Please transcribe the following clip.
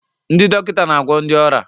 Ndị dọkịta na-agwọ ndị ọrịa